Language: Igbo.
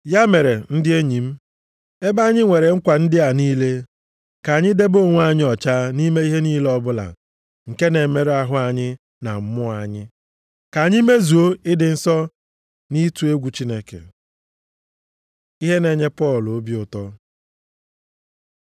Ya mere, ndị enyi m, ebe anyị nwere nkwa ndị a niile, ka anyị debe onwe anyị ọcha nʼime ihe niile ọbụla nke na-emerụ ahụ anyị na mmụọ anyị. Ka anyị mezuo ịdị nsọ nʼịtụ egwu Chineke. Ihe na-enye Pọl obi ụtọ